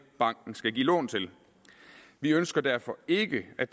banken skal give lån til vi ønsker derfor ikke at